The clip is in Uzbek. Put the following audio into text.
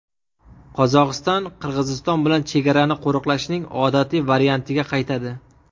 Qozog‘iston Qirg‘iziston bilan chegarani qo‘riqlashning odatiy variantiga qaytadi.